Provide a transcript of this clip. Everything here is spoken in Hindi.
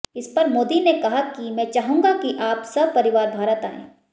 इसपर मोदी ने कहा कि मैं चाहूंगा कि आप सपरिवार भारत आएं